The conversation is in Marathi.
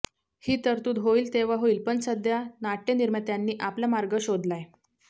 ही तरतूद होईल तेव्हा होईल पण सध्या नाटय़निर्मात्यांनी आपला मार्ग शोधलाय